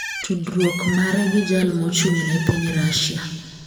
tudruok mare gi jal mochung'ne piny Rusia.